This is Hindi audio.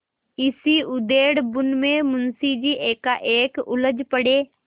इसी उधेड़बुन में मुंशी जी एकाएक उछल पड़े